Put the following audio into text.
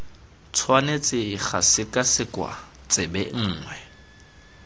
tshwanetse ga sekwasekwa tsebe nngwe